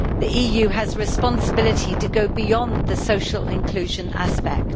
The EU has a responsibility to go beyond the social inclusion aspect.